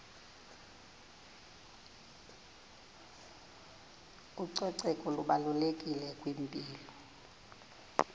ucoceko lubalulekile kwimpilo